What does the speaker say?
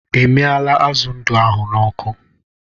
I miala azụ ndụ ahụ n'ọkụ